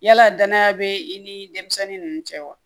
Yala danaya bɛ i ni denmisɛnni ninnu cɛ wa